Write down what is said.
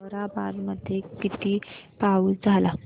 ताहराबाद मध्ये किती पाऊस झाला